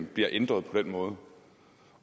bliver ændret på den måde og